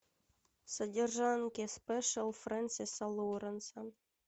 содержанки спешиал фрэнсиса лоуренса